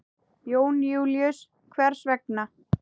Jón Júlíus: Hvers vegna?